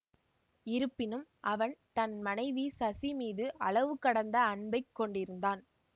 இருப்பினும் அவன் தன் மனைவி சசி மீது அளவு கடந்த அன்பைக் கொண்டிருந்தான்